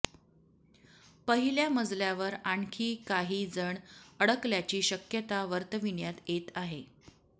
पहिल्या मजल्यावर आणखी काही जण अडकल्याची शक्यता वर्तविण्यात येत आहे